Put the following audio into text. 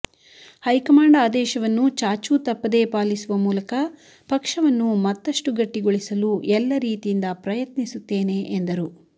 high command ಆದೇಶವನ್ನು ಚಾಚು ತಪ್ಪದೇ ಪಾಲಿಸುವ ಮೂಲಕ ಪಕ್ಷವನ್ನು ಮತ್ತಷ್ಟು ಗಟ್ಟಿಗೊಳಿಸಲು ಎಲ್ಲ ರೀತಿಯಿಂದ ಪ್ರಯತ್ನಿಸುತ್ತೇನೆ ಎಂದರು